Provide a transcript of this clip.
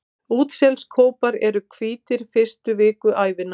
Útselskópar eru hvítir fyrstu vikur ævinnar.